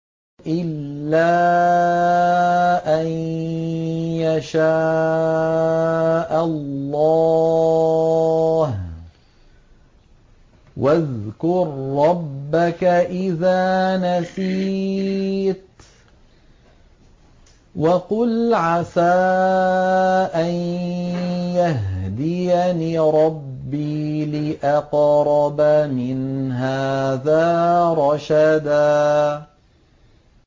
إِلَّا أَن يَشَاءَ اللَّهُ ۚ وَاذْكُر رَّبَّكَ إِذَا نَسِيتَ وَقُلْ عَسَىٰ أَن يَهْدِيَنِ رَبِّي لِأَقْرَبَ مِنْ هَٰذَا رَشَدًا